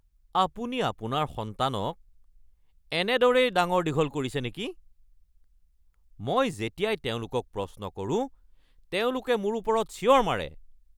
আপুনি আপোনাৰ সন্তানক এনেদৰেই ডাঙৰ-দীঘল কৰিছে নেকি? মই যেতিয়াই তেওঁলোকক প্ৰশ্ন কৰো তেওঁলোকে মোৰ ওপৰত চিঞৰ মাৰে।